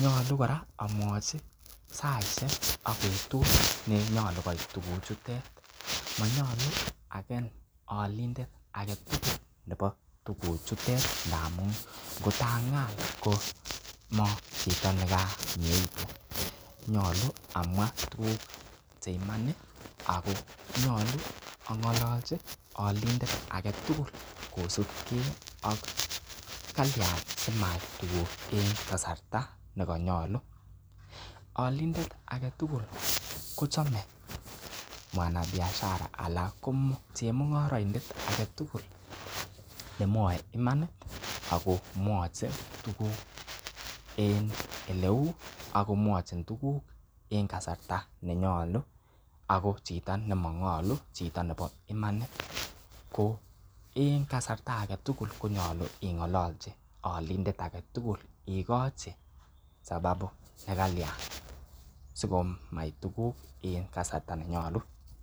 Nyolu kora amwochi saishek ak betut nenyolu koit tuguchutet, monyolu agen olindet nebo tuguchutet ngamun ngot ang'al komachito ne ko mieitu . Nyolu amwa tuguk che iman ago nyolu ang'ololchi olindet age tugul kosub ke ak kalyan simait tuguk en kasarta ne konyolu olindet age tugul kochome mwanabiashara ala ko chemung'oroindet age tugul nemwoe imanit ago mwachin tuguk en ele u. ago mwochin tuguk en kasarta nenyolu. Ago chito nemang'olu chito nebo imanit ko en kasarta age tugul konyolu ing'olochi olindet age tugul igoci sababu ne klayan sikomait tuguk en kasarta nenyolu.